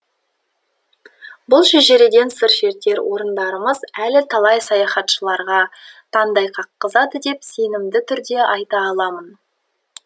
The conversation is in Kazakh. бұл шежіреден сыр шертер орындарымыз әлі талай саяхатшыларға таңдай қаққызады деп сенімді түрде айта аламын